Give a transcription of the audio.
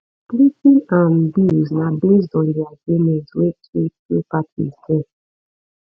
splitting um bills na based on di agreement wey two two parties get